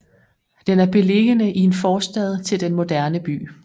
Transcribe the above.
Den er beliggende i en forstad til den moderne by